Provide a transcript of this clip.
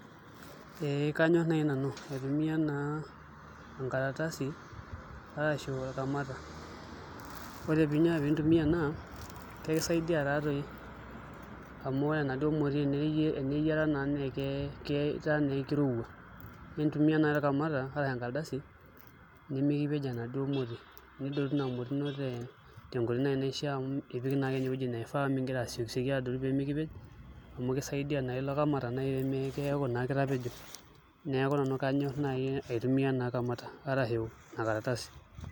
Ee kanyor nai nanu aitumiya naa enkaratasi arashu olkamata ore piintumiya ena kakisaidia taatoi amu ore eneduo moti eneyiata naatoi neeku kirowua nitumiya nai olkamata arashu enkaratasi nimikipej enaduo moti nidotu Ina moti ino tenkoitoi naishia amu ipik nai ewueji naifaa amu mingira asiekisieki adotu peemekipej amu kisaidia nai ilo kamata naa pemeeku naa nai kitapejo neeku nanu kanyor nai aitumiya kamata arashu Ina karatasi.